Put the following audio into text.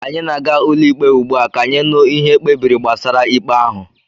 Anyị na-aga ụlọikpe ugbu a ka anyị nụ ihe ekpebiri gbasara ikpe ahụ